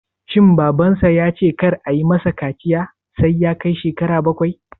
Shin Babansa ya ce kar ayi ma sa kaciya sai ya kai shekara bakwai?